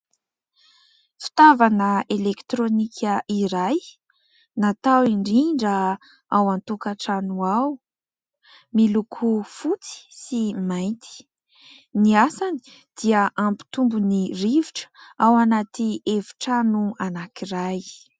Fitaovana elekitironika iray natao indrindra ao an-tokantrano ao, miloko fotsy sy mainty. Ny asany dia hampitombo ny rivotra ao anaty efitrano anankiray.